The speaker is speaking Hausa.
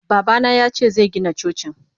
Babana yace zegina Cocin.